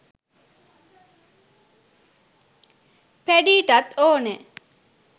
පැඞීටත් ඕනැ